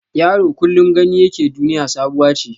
Yaro kullum gani yake duniya sabuwa ce.